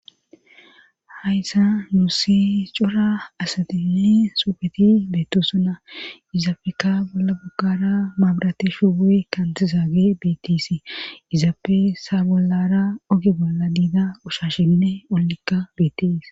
Hayssa muussi cora asadinne sufeti beetto suna izaafeka bolla buggara maabrateshubu7e kantizaage beetisi izaafe saa bollara oge bolla diida ushashinne ollekka betis.